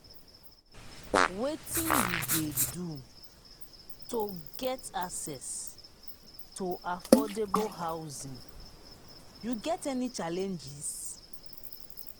wetin you dey do to get access to affordable housing you get any challenges.